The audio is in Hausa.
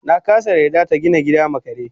nakasa yarda yarda tagina gida ma kare